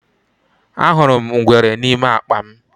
Ahụrụ m ngwere n’ime akpa m.